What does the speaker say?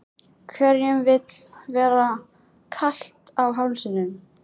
Hverjum vill vera kalt á hálsinum?